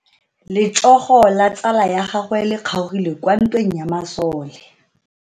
Letsogo la tsala ya gagwe le kgaogile kwa ntweng ya masole.